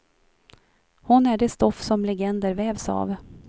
Hon är det stoff som legender vävs av.